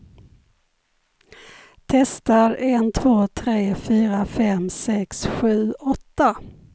Testar en två tre fyra fem sex sju åtta.